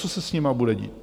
Co se s nimi bude dít?